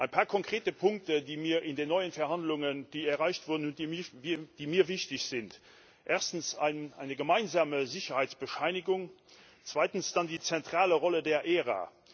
Ein paar konkrete Punkte, die in den neuen Verhandlungen erreicht wurden und die mir wichtig sind Erstens eine gemeinsame Sicherheitsbescheinigung, zweitens dann die zentrale Rolle der ERA.